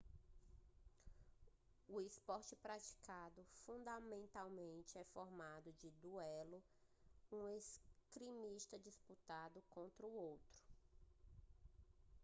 o esporte é praticado fundamentalmente em formato de duelo um esgrimista disputando contra outro